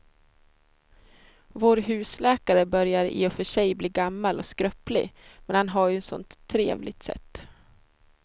Vår husläkare börjar i och för sig bli gammal och skröplig, men han har ju ett sådant trevligt sätt!